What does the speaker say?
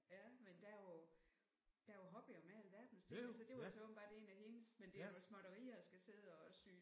Ja men der er jo der er jo hobbyer med alverdens ting altså det er jo så åbenbart en af hendes men det er jo småtterier at skulle sidde og sy